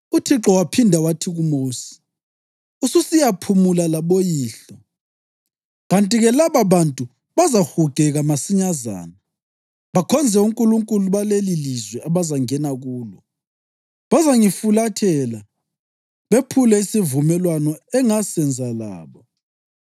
UThixo waphinda wathi kuMosi: “Ususiyaphumula laboyihlo, kanti-ke lababantu bazahugeka masinyazana bakhonze onkulunkulu balelilizwe abazangena kulo. Bazangifulathela bephule isivumelwano engasenza labo.